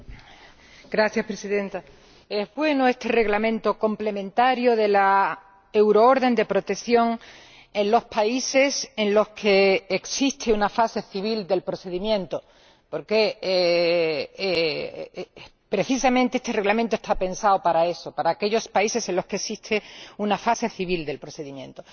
Señora Presidenta, es pues este Reglamento complementario de la euroorden de protección en los países en los que existe una fase civil del procedimiento, porque precisamente este Reglamento está pensado para eso, para aquellos países en los que existe una fase civil del procedimiento.